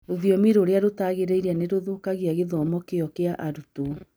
Rũthiomi rũrĩa rũtagĩrĩire nĩ rũthũkagia gĩthomo kĩyo kĩa arutwo